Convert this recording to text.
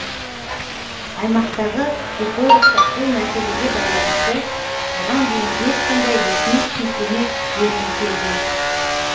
аймақтағы экологтар бұл мәселеге байланысты бұған дейін ешқандай ресми түсініктеме бермей келген